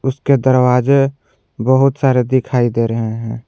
उसके दरवाजे बहुत सारे दिखाई दे रहे हैं।